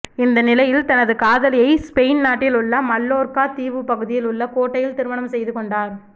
இந்ட நிலையில் தனது காதலியை ஸ்பெயின் நாட்டில் உள்ள மல்லோர்கா தீவு பகுதியில் உள்ள கோட்டையில் திருமணம் செய்து கொண்டார்